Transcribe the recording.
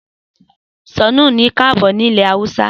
Sannu ni kaabo ní ilẹ̀ Haúsá